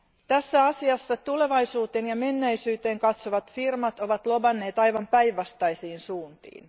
Tässä asiassa tulevaisuuteen ja menneisyyteen katsovat firmat ovat lobanneet aivan päinvastaisiin suuntiin.